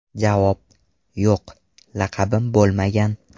Javob: Yo‘q, laqabim bo‘lmagan.